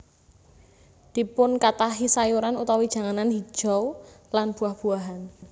Dipunkathahi sayuran utawi janganan hijau lan buah buahan